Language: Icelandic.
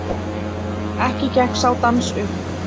Ekki gekk sá dans upp.